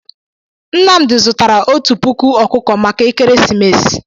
Nnamdị zụtara otú puku ọkụkọ maka ekeresimesi.